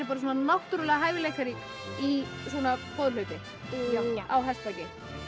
náttúrulega hæfileikarík í svona boðhlaupi já á hestbaki